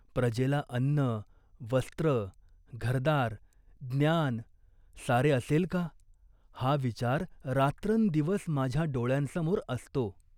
प्रजेला अन्न, वस्त्र, घरदार, ज्ञान सारे असेल का, हा विचार रात्रंदिवस माझ्या डोळ्यांसमोर असतो.